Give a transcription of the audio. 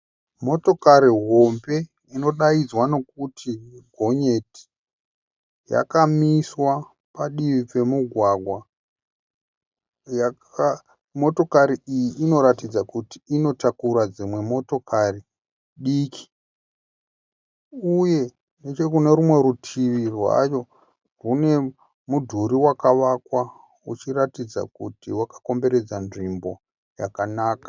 Motokari hombe inodaidzwa nokuti gonyeti. Yakamiswa padivi pemugwagwa. Motokari iyi inoratidza kuti inotakura dzimwe motokari diki uye nechekune rumwe rutivi rwayo kune mudhuri wakavakwa uchiratidza kuti wakakomberedza nzvimbo yakanaka.